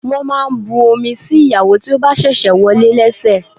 Wọ́n máa ń bu omi sí ìyàwó tí ó bá ṣẹ̀ṣẹ̀ wọlé lẹ́sẹ̀.